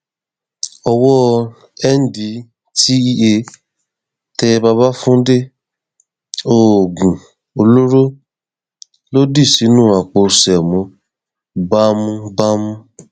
owó ndtea tẹ babafúndé oògùn olóró ló dì sínú àpò ṣémó bámúbámú